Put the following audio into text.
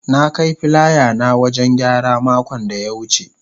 na Kai filaya na wajen gyara makon da ya wuce.